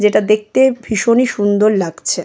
যেটা দেখতে ভীষণই সুন্দর লাগছে।